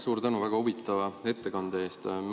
Suur tänu väga huvitava ettekande eest!